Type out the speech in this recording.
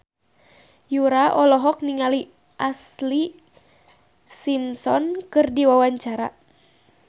Yura olohok ningali Ashlee Simpson keur diwawancara